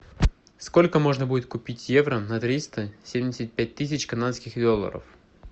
сколько можно будет купить евро на триста семьдесят пять тысяч канадских долларов